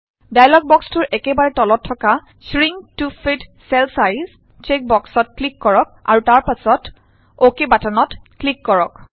dialog বক্সটোৰ একেবাৰে তলত থকা shrink to fit cell size check বক্সত ক্লিক কৰক আৰু তাৰ পাছত অকে বাটনত ক্লিক কৰক